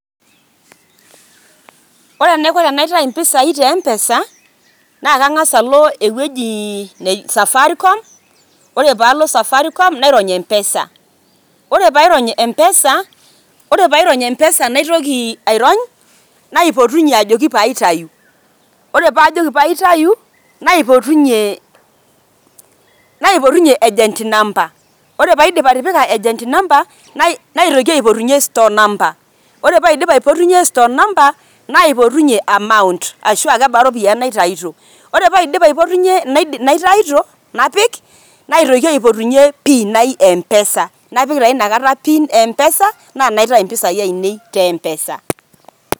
Ore enaiko tenaitayu mpesai te M-pesa naake ang'asa alo ewuji um Safaricom, ore paalo safaricom nairony M-pesa. Ore pairony M-pesa, ore pairony M-pesa naitoki airony naipotunye ajoiki paitayu. Ore paajoki paitayu naipotunye agent number ore paidip atitpika agent number, naitoki aipotunye store numbe, ore paidip aipotunye store number naipotunye amount ashuu kebaa iropiani naitayuto. Ore paidip aipotunye naitayuto napik, naitoki aipotunye pin ai e M-pesa, napik taa inakata pin ai e M-pesa naitayu mpisai ainei te M-pesa.